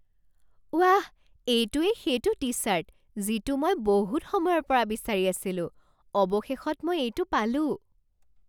ৱাহ! এইটোৱেই সেইটো টি ছাৰ্ট যিটো মই বহুত সময়ৰ পৰা বিচাৰি আছিলোঁ। অৱশেষত মই এইটো পালোঁ।